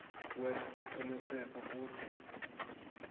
kwenta siciniseko kutsi